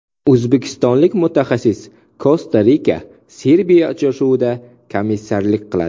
O‘zbekistonlik mutaxassis Kosta-RikaSerbiya uchrashuvida komissarlik qiladi.